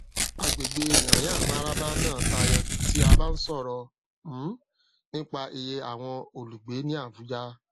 agbègbè nyanyamararaba náà tayọ tí a bá ń sọrọ um nípa iye àwọn olùgbé ní abuja